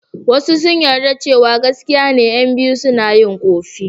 Wasu sun yarda cewa gaskiya ne ƴan biyu suna yin ƙofi.